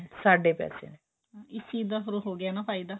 ਸਾਡੇ ਪੈਸੇ ਇਸ ਚੀਜ ਦਾ ਹੋ ਗਿਆ ਨਾ ਫੇਰ ਫਾਇਦਾ